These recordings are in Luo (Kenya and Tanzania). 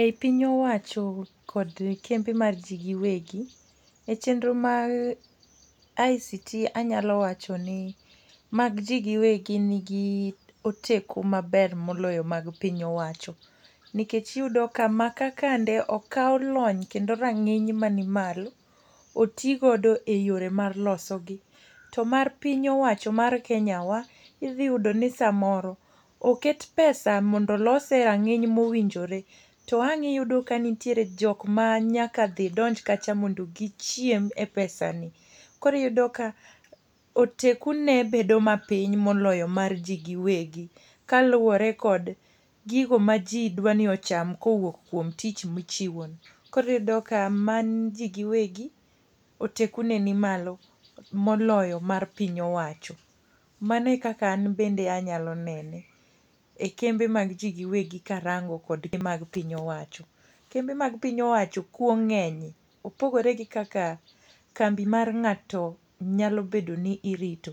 Ei piny owacho kod kembe mag ji giwegi, e chenro mar ICT anyalo wacho ni mag ji giwegi nigi oteku maber moloyo mag piny owacho. Nikech iyudo ka maka kande okaw lony kendo rangíny mani malo oti godo e yore mar loso gi. To mar piny owacho mar kenya wa, idhi yudo ni samoro, oket pesa mondo olose e rang'iny mowinjore, to ang' iyudi ni nitiere jok manyaka dhi donj kacha mondo gichiem e pesani. Koro iyudo ka oteku ne bedo ma piny moloyo mar ji giwegi. Kaluwore kod gigo ma ji dwani ocham kowuok kuom tich ma ichiwo ni. Koro iyudo ka mar ji giwegi, oteku ne nimalo moloyo mar piny owacho. Mano e kaka an bende anyalo nene. E kembe mag ji giwegi karango kod mag piny owacho. Kembe mag piny owacho kuo ngénye, opogore kaka kambi mar ngáto nyalo bedo ni irito.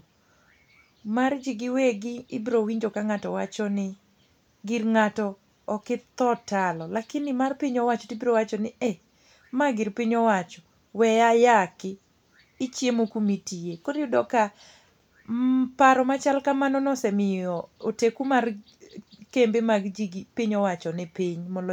Mar ji giwegi ibiro winjo ka ngáto wacho ni "gir ngáto ok itho talo", lakini mar piny owacho tibiro wacho ni "e, mar gir piny owacho, we ayaki, ichiemo kuma itiye." Koro iyudo ka paro machal kamano no osemiyo oteku mag kembe mag ji gi piny owacho ni piny moloyo.